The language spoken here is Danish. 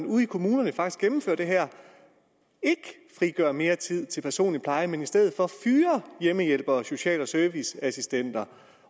ude i kommunerne faktisk gennemfører det her ikke frigør mere tid til personlig pleje men i stedet for fyrer hjemmehjælpere og social og serviceassistenter